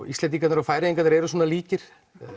Íslendingarnir og Færeyingarnir eru svona líkir